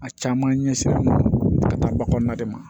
A caman ɲɛsinnen don ba kɔnɔna de ma